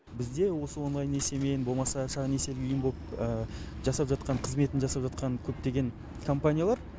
бізде осы онлайн несиемен болмаса жаңағы несиелік ұйымы болып жасап жатқан қызметін жасап жатқан көптеген компаниялар